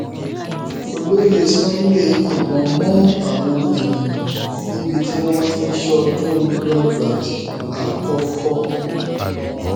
olóyè sunday yìnbọn mọ àwọn èèyàn níbi tí wọn ti ń ṣọdún lọgbàdì àkọkọ